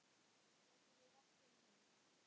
Getum við rætt um hann?